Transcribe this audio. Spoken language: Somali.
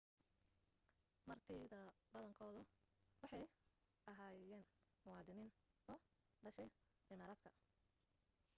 martidabadankeedu waxay ahyeenmuwaadiniin u dhashay imaaraadka